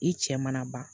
I cɛ mana ban